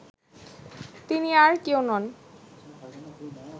তিনি আর কেউ নন